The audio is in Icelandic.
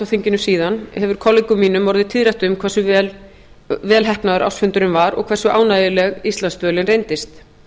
þinginu síðan hefur kollegum mínum orðið tíðrætt um hversu vel heppnaður ársfundurinn var og hversu ánægjuleg íslandsdvölin reyndist